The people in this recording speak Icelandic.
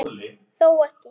Þó ekki.